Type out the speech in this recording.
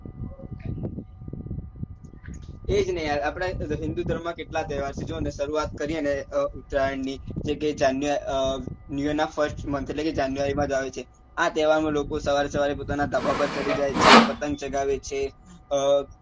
એ જ ને યાર આપડે માં કેટલા તહેવાર છે જોવો ને સરુઆત કરીએ ને ઉતરાયણ ની જે કે જાન new year નાં first month એટલે કે january માં જ આવે છે આ તહેવાર માં લોકો સવારે સવારે પોતાના ધાબા પર ચડી જાય છે પતંગ ચગાવે છે